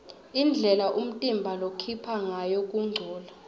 indlela umtimba lokhipha ngayo kungcola